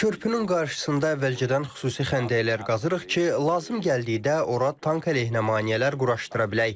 Körpünün qarşısında əvvəlcədən xüsusi xəndəklər qazırıq ki, lazım gəldikdə ora tank əleyhinə maneələr quraşdıra bilək.